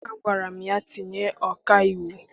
Agwara m ya, tinye ọkaiwu!